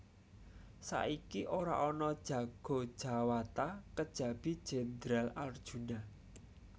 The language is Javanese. Saiki ora ana jago jawata kejabi Jendral Arjuna